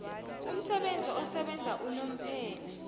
umsebenzi osebenza unomphela